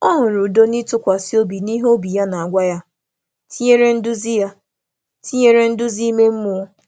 Ọ um hụrụ udo n’ịtụkwasị obi n’ihe obi ya na-agwa ya na-agwa ya, um tinyere um nduzi ime mmụọ.